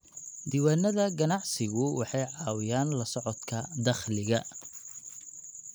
Diiwaanada ganacsigu waxay caawiyaan la socodka dakhliga.